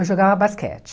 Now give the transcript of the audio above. Eu jogava basquete.